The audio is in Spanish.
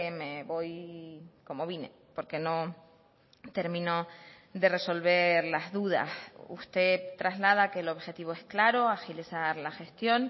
me voy como vine porque no termino de resolver las dudas usted traslada que el objetivo es claro agilizar la gestión